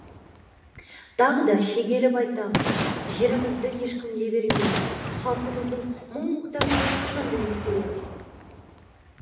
тағы да шегелеп айтамын жерімізді ешкімге бермейміз халқымыздың мұң мұқтажын әрқашанда ескереміз